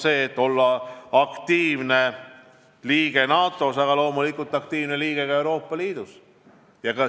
Meie eesmärk olla aktiivne liige NATO-s, aga loomulikult olla aktiivne liige ka Euroopa Liidus.